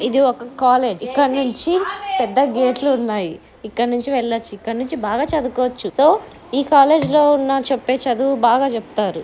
ఇధి ఒక కాలేజీ(college) ఇక్కడ నుంచి పెద్ద గెట్ లు ఉన్నాయి ఇక్కడ ఉన్నాయి ఇక్కడ నుంచి బాగా చదువుకోవచ్చు సొ(so) ఈ కాలేజీ లో ఉన్న చెప్పే చదువు బాగా చెప్తారు.